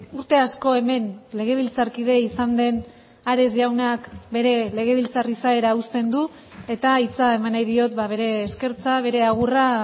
urte asko hemen legebiltzarkide izan den ares jaunak bere legebiltzar izaera uzten du eta hitza eman nahi diot bere eskertza bere agurra